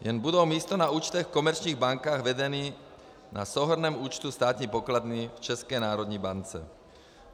Jen budou místo na účtech v komerčních bankách vedeny na souhrnném účtu státní pokladny v České národní bance.